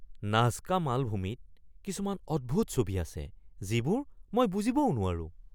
Nazca মালভূমিত কিছুমান অদ্ভুত ছবি আছে যিবোৰ মই বুজিবও নোৱাৰোঁ!